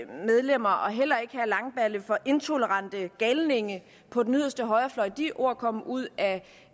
medlemmer og heller ikke herre langballe for intolerante galninge på den yderste højrefløj de ord kom ud